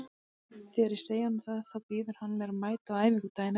Þegar ég segi honum það þá býður hann mér að mæta á æfingu daginn eftir.